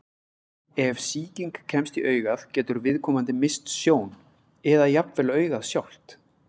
Ef sýking kemst í augað getur viðkomandi misst sjón, eða jafnvel augað sjálft.